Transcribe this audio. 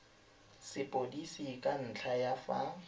sepodisi ka ntlha ya fa